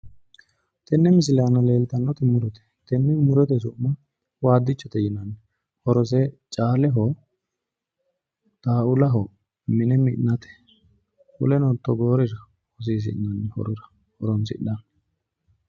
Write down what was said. tenne misile anaa leellitannoti murote tenne murote su'ma waddichote yinanni worose caaleho xaulaho mineno mi'nate woleno togoorira hosissinani horora horonsina'ni.